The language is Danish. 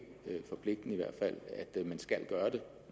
forpligtende at man skal gøre det